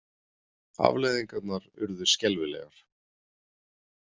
Afleiðingarnar urðu skelfilegar.